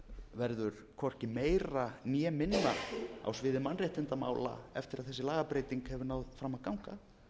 verður hvorki meira né minna á bið mannréttindamála eftir að þessi lagabreyting hefur náð fram að ganga